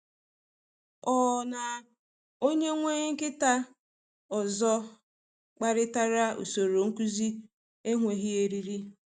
Ọ na um onye nwe nkịta ọzọ kparịtara usoro um nkuzi enweghị eriri.